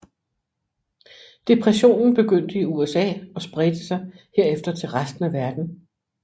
Depressionen begyndte i USA og spredte sig herefter til resten af verden